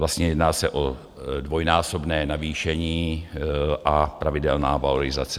Vlastně jedná se o dvojnásobné navýšení a pravidelná valorizace.